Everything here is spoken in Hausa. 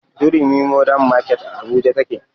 Durumi mordern market a abuja take